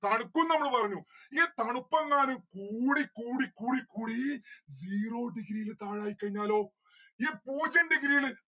തണുക്കും നമ്മൾ പറഞ്ഞു ഈ തണുപ്പ് എങ്ങാനും കൂടി കൂടി കൂടി കൂടീ zero degree ല് താഴ ആയികയിഞ്ഞാലൊ ഈ പൂജ്യം degree ല്